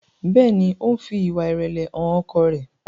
Béèni o ń fí ìwà irẹlẹ hàn ọkọ rẹ.